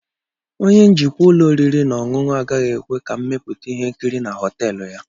Onye njikwa ụlọ oriri na ọṅụṅụ agaghị ekwe ka mmepụta ihe nkiri na họtel ya.